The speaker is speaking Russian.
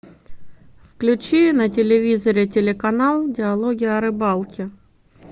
включи на телевизоре телеканал диалоги о рыбалке